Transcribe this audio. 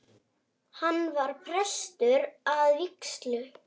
Hann var prestur að vígslu.